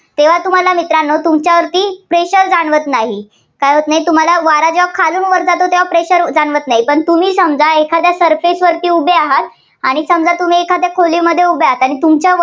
तेव्हा तुम्हाला मित्रांनो तुमच्यावरती pressure जाणवत नाही. काय होत नाही, तुम्हाला वारा जेव्हा खालून वर जातो तेव्हा pressure जाणवत नाही.